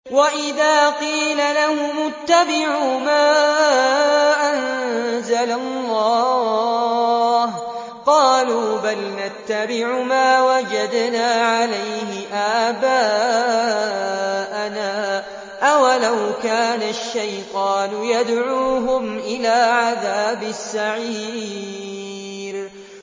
وَإِذَا قِيلَ لَهُمُ اتَّبِعُوا مَا أَنزَلَ اللَّهُ قَالُوا بَلْ نَتَّبِعُ مَا وَجَدْنَا عَلَيْهِ آبَاءَنَا ۚ أَوَلَوْ كَانَ الشَّيْطَانُ يَدْعُوهُمْ إِلَىٰ عَذَابِ السَّعِيرِ